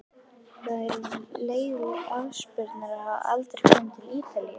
Það er leiðinlegt afspurnar að hafa aldrei komið til Ítalíu.